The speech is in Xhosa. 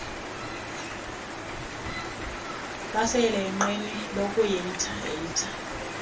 baseyelenqeni lokuehitha ehitha